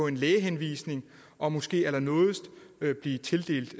en lægehenvisning og måske allernådigst blive tildelt